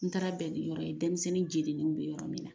N taara bɛn yɔrɔ ye denmisɛnnin jeninen bɛ yɔrɔ min na.